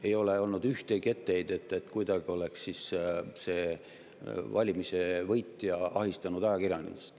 Ei ole olnud ühtegi etteheidet, et valimiste võitja oleks kuidagi ahistanud ajakirjandust.